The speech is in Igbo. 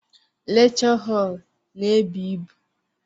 Lekchọ họl n'ebu ịbụ.